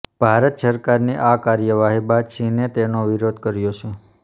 ભારત સરકારની આ કાર્યવાહી બાદ ચીને તેનો વિરોધ કર્યો છે